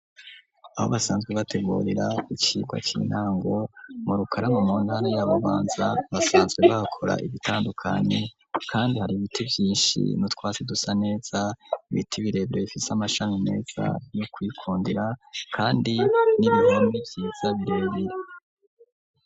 Aho basanzwe bitegurira icigwa c'intango mu Rukaramu mu ntara ya Bubanza, basanzwe bakora ibitandukanye kandi, hari ibiti vyinshi n'utwatsi dusa neza, ibiti birebere bifise amashami meza yo kwitondera, kandi n'ibihome vyiza birebere.